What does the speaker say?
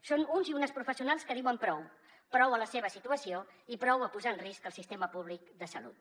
són uns i unes professionals que diuen prou prou a la seva situació i prou a posar en risc el sistema públic de salut